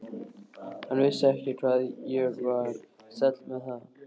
Hann vissi ekki hvað ég var sæll með það.